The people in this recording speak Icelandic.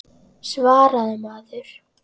Svaraðu maður.